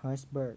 hertzberg